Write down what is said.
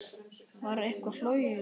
Var eitthvað flogið í dag?